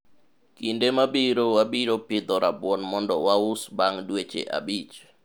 kinde mabiro wabiro pidho rabuon mondo waus bang' dweche abich